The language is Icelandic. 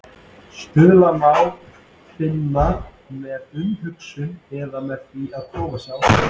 Stuðlana má finna með umhugsun eða með því að prófa sig áfram.